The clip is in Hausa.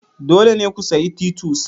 Dole ne ku sayi titus.